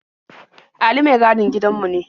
Ali mai gadin gidanmu ne.